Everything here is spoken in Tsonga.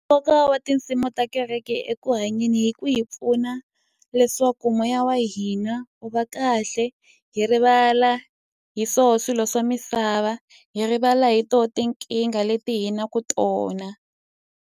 Nkoka wa tinsimu ta kereke eku hanyeni i ku hi pfuna leswaku moya wa hina wu va kahle, hi rivala hi swona swilo swa misava, hi rivala hi tona tinkingha leti hi nga na tona.